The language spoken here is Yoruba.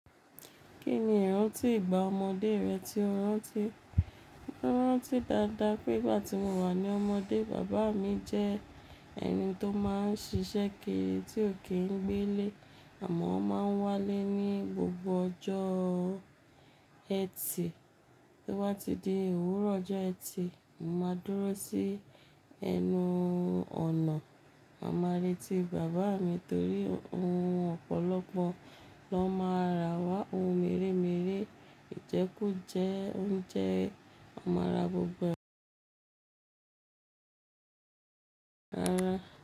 Kí ni ìrántí ìgbà ọmọdé rẹ tí o rántí? Mo rántí dáadáa pé ìgbà tí mo wà ní ọmọdé, bàbá mi jẹ́ ẹni tó máa ń ṣiṣẹ́ kiri tí ò kí ń gbé lé, àmọ́ ó máa ń wálé ní gbogbo ọjọ́ ẹtì. Bí o ba ti di òwúrọ̀ ọjọ́ ẹtì, mo máa dúró sí ẹnu ọ̀nà màa ma retí bàbá mi torí ohun ọ̀pọ̀lọpọ̀ ló máa rà wá. Ohun mèremère, ìjẹkú jẹ oúnjẹ won mára gbogbo ẹ wa —rà á.